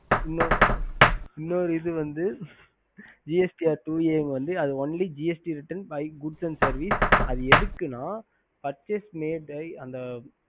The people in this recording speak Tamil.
இன்னொன்னு வந்து gst r two a only bike and good services அது எதுக்குன்னா